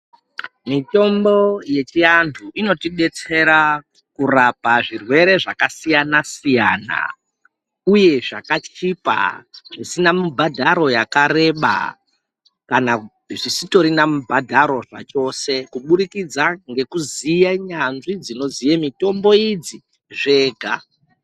Mitombo yechiantu inotidetsera kurapa zvirwere zvakasiyanasiyana uye zvakachipa zvisina mubhadharo yakareba kana zvisina mubhadharo zvachose kuburikidza ngekuziya nyanzvi dzinoziya mitombo idzi zvega.